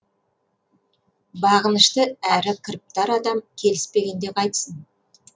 бағынышты әрі кіріптар адам келіспегенде қайтсін